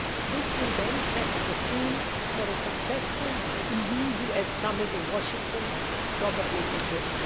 This will then set the scene for a successful EU US Summit in Washington, probably in June.